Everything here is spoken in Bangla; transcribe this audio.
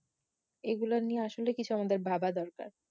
এগুলা নিয়ে আসলে কিছু আমাদের ভাবা দরকার